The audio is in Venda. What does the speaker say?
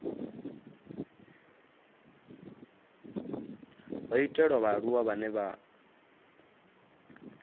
ho itelwa vhaaluwa vhane vha